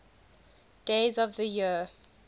days of the year